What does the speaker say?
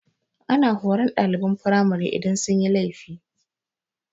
Ana horan ɗaliban firamari idan sun yi laifi.